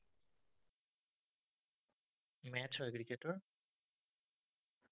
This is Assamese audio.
match চোৱা ক্ৰিকেটৰ?